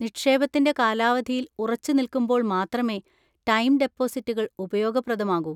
നിക്ഷേപത്തിന്‍റെ കാലാവധിയിൽ ഉറച്ചുനിൽക്കുമ്പോൾ മാത്രമേ ടൈം ഡെപ്പോസിറ്റുകൾ ഉപയോഗപ്രദമാകൂ.